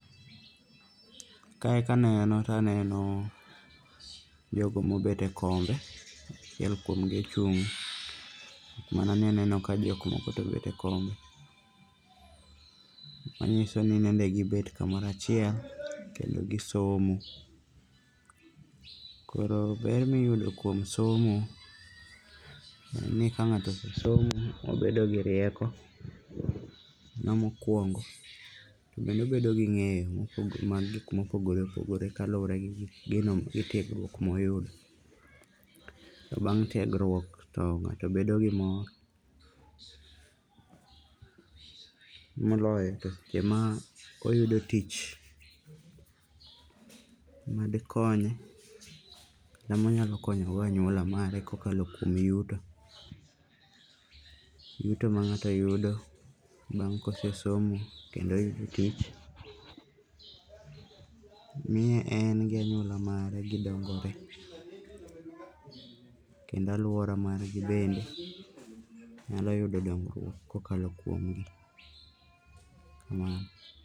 Kae kaneno to aneno jogo mobet e kombe. Achiel kuomgi ochung'.Mana ni aneno ka jokmoko to obet e kom, manyiso ni nende gibet kamoro achiel kendo gisomo. Koro ber miyudo kuom somo en ni ka ng'ato osomo to obedo gi rieko, mano mokuongo. Kendo obedo gi ng'eyo mag gik mopogore opogre kaluwore gi tiegruok moyudo. Bang' tiegruok to ng'ato bedo gi mor, moloyo to seche ma oyudo tich madhikonye kata monyalo konyo go anyuola mare kokalo kuom yuto, yuto mang'ato yudo bang' kosesomo kendo oyudo tich. miye en gi anyuola mare gidongore kendo alwora margi bende nyalo yudo dongruok kokalo kuomgi. Kamano.